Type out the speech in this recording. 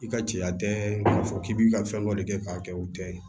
I ka cɛya tɛ k'a fɔ k'i bɛ ka fɛn dɔ de kɛ k'a kɛ o tɛ ye